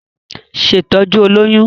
Ṣe ìtọ́jú olóyún!